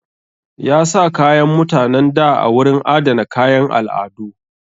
Ya sa kayan mutanen da a wurin adana kayan al'adu.